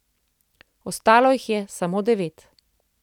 Ostalo jih je samo devet.